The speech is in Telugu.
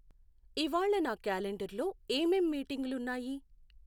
ఇవ్వాళ నా క్యాలెండరలో ఏమేం మీటింగులు ఉన్నాయి?